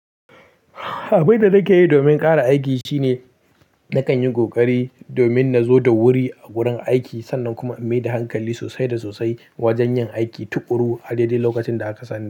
Abun da nike yin domin kara aiki shine nakanyi kohkari domin na zo da wuri a gurin aiki sannan kuma in maida hankali sosai da sosai wajen yin aiki tukuru a dai dai lokacin da aka sani.